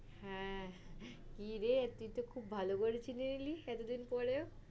হ্যাঁ, কিরে তুই তো খুব ভালো করে চিনি এতোদিন পরেও।